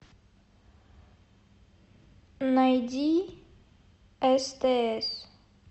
найди стс